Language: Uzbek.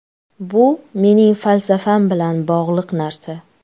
Bu mening falsafam bilan bog‘liq narsa”.